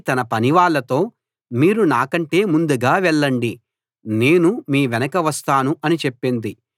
తన పనివాళ్ళతో మీరు నాకంటే ముందుగా వెళ్ళండి నేను మీ వెనుక వస్తాను అని చెప్పింది